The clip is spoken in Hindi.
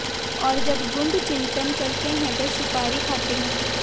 और जब गूढ़ चिंतन करते हैं तो सुपारी खाते हैं